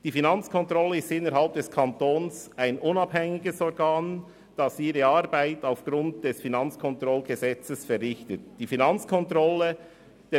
Die Finanzkontrolle ist innerhalb des Kantons ein unabhängiges Organ, das seine Arbeit aufgrund des Gesetzes über die Finanzkontrolle vom 1. Dezember 1999 (Kantonales Finanzkontrollgesetz, KFKG) verrichtet.